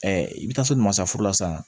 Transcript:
i bɛ taa so nin ma sa furu la sisan